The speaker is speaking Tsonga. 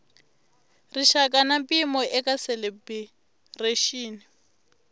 rixaka na mpimo eka calibiraxini